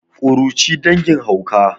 kuruci dangin hauka